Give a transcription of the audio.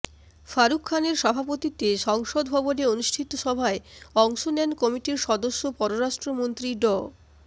ফারুক খানের সভাপতিত্বে সংসদ ভবনে অনুষ্ঠিত সভায় অংশ নেন কমিটির সদস্য পররাষ্ট্রমন্ত্রী ড